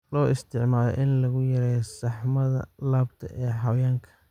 Loo isticmaalo in lagu yareeyo saxmada laabta ee xayawaanka.